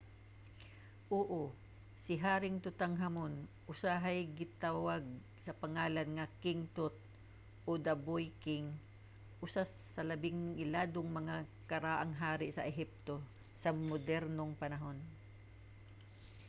oo! si haring tutankhamun usahay ginatawag sa pangalan nga king tut o the boy king usa sa labing iladong mga karaang hari sa ehipto sa modernong panahon